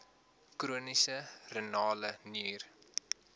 chroniese renale nier